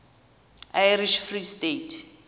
irish free state